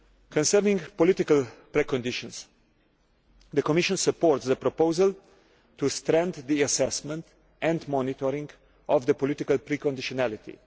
Concerning political pre conditions, the Commission supports the proposal to strengthen the assessment and monitoring of political pre conditionality.